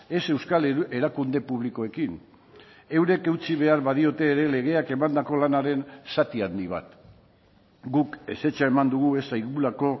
ez euskal erakunde publikoekin eurek eutsi behar badiote ere legeak emandako lanaren zati handi bat guk ezetza eman dugu ez zaigulako